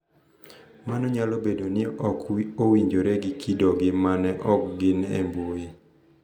Mano nyalo bedo ni ok owinjore gi kidogi ma ok gin e mbui